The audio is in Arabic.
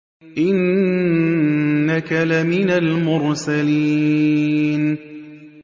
إِنَّكَ لَمِنَ الْمُرْسَلِينَ